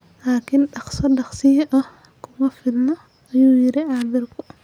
Laakiin "dhaqso dhaqsiyo ah" kuma filna, ayuu yiri khabiirku.